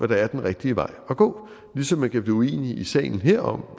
der er den rigtige vej at gå ligesom man kan blive uenige i sagen her om